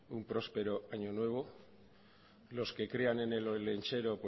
un próspero año nuevo los que crean en el olentzero